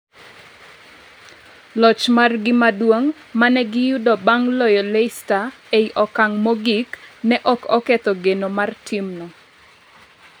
Loch margi maduong' mane giyudo bang' loyo Leicester e okang' mogik ne ok oketho geno mar timno